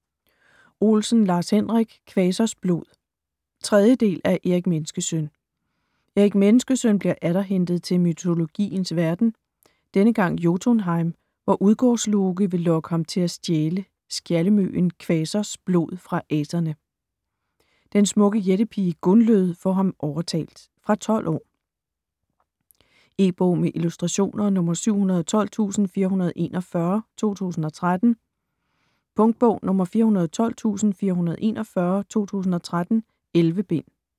Olsen, Lars-Henrik: Kvasers blod 3. del af Erik Menneskesøn. Erik Menneskesøn bliver atter hentet til mytologiens verden. Denne gang Jotunheim, hvor Udgårdsloke vil lokke ham til at stjæle skjaldemjøden, Kvasers blod, fra aserne. Den smukke jættepige, Gunlød, får ham overtalt. Fra 12 år. E-bog med illustrationer 712441 2013. Punktbog 412441 2013. 11 bind.